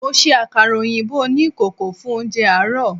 Mo se àkàrà òyìnbó oní ìkòkò fún oúnje àárò